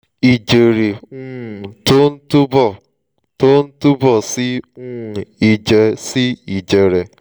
ìjẹ̀rẹ́ um tó ń túbọ̀ tó ń túbọ̀ sí um ìjẹ̀ sí ìjẹ̀rẹ̀